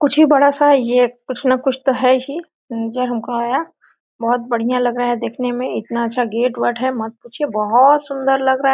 कुछ भी बड़ा सा ये कुछ न कुछ तो है ही नजर हमको आया बहोत बढ़िया लग रहा है देखने में इतना अच्छा गेट वटे है मत पूछिए बहोत सुन्दर लग रहा है।